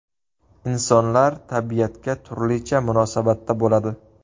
Insonlar tabiatga turlicha munosabatda bo‘ladi.